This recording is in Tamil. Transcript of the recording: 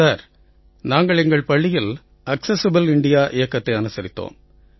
சார் நாங்கள் எங்கள் பள்ளியில் ஆக்செஸிபிள் இந்தியா இயக்கத்தை அனுசரித்தோம்